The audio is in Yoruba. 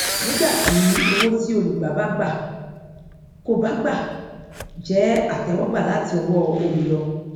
nígbà tí owó tí olùgbà bá gbà kò bá gbà jẹ àtẹwọgbà láti ọwọ olùyọ